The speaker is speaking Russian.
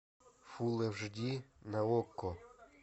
фулл аш ди на окко